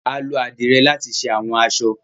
Alo adire lati ṣe awọn aṣọ.